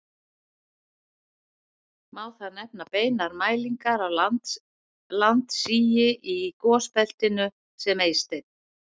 Má þar nefna beinar mælingar á landsigi í gosbeltinu sem Eysteinn